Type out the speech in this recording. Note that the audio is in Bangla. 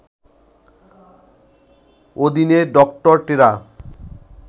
অধীনে ডক্টর টেরা